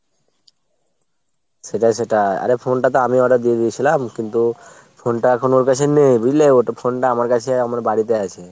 সেটাই সেটাই। আরে phone টা তো আমিই order দিয়ে দিয়েছিলাম কিন্তু phone টা এখন ওর কাছে নেই বুঝলে ? phone টা আমার কাছে আমার বাড়িতে আছে।